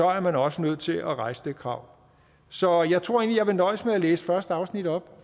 er man også nødt til at rejse det krav så jeg tror egentlig jeg vil nøjes med at læse første afsnit op